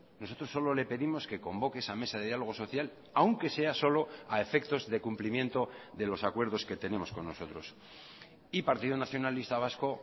nosotros solo le pedimos que convoque esa mesa de diálogo social aunque sea solo a efectos de cumplimiento de los acuerdos que tenemos con nosotros y partido nacionalista vasco